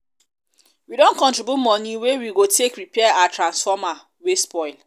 we um don contribute moni wey we go take repair our transformer um wey spoil.